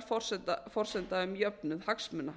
vegar forsenda um jöfnuð hagsmuna